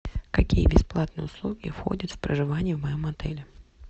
какие бесплатные услуги входят в проживание в моем отеле